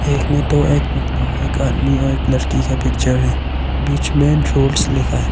एक में दो एक कुत्ता एक आदमी और एक लड़की का पिक्चर है बीच में ड्रूल्स लिखा है।